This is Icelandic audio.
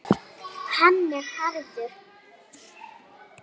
Hann er hraður.